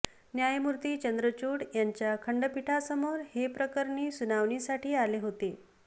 न्यायमूर्ती चंद्रचूड यांच्या खंठपीठासमोर हे प्रकरणी सुनावणीसाठी आले होते